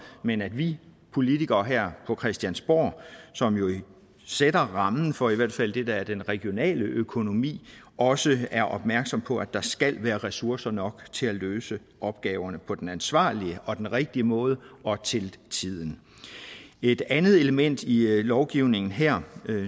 men at vi politikere her på christiansborg som jo sætter rammen for i hvert fald det der er den regionale økonomi også er opmærksomme på at der skal være ressourcer nok til at løse opgaverne på den ansvarlige og den rigtige måde og til tiden et andet element i lovgivningen her